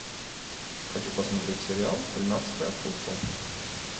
хочу посмотреть сериал тринадцатый апостол